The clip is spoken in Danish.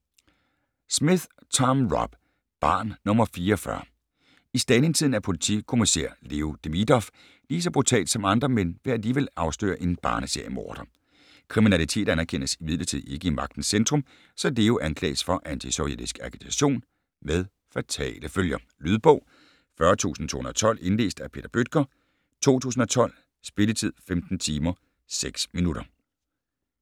Smith, Tom Rob: Barn nr. 44 I Stalintiden er politikommissær Leo Demidov lige så brutal som andre, men vil alligevel afsløre en barne-seriemorder. Kriminalitet anerkendes imidlertid ikke i Magtens Centrum, så Leo anklages for antisovjetisk agitation - med fatale følger... Lydbog 40212 Indlæst af Peter Bøttger, 2012. Spilletid: 15 timer, 6 minutter.